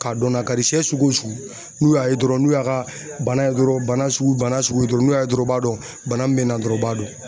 K'a dɔn nakari sɛ sugu o sugu n'u y'a ye dɔrɔn n'u y'a ka bana ye dɔrɔn bana sugu bana sugu ye dɔrɔn n'u y'a ye dɔrɔn u b'a dɔn bana min bɛ na dɔrɔn u b'a dɔn.